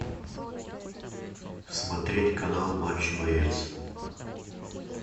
смотреть канал матч боец